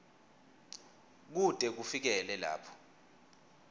kute kufikele lapho